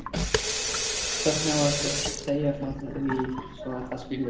Hvernig á að segja frá því svo það skiljist?